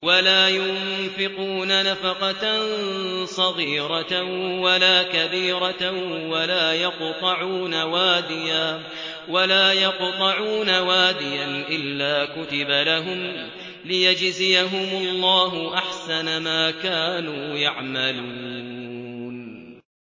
وَلَا يُنفِقُونَ نَفَقَةً صَغِيرَةً وَلَا كَبِيرَةً وَلَا يَقْطَعُونَ وَادِيًا إِلَّا كُتِبَ لَهُمْ لِيَجْزِيَهُمُ اللَّهُ أَحْسَنَ مَا كَانُوا يَعْمَلُونَ